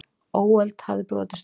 Óöld hafði brotist út.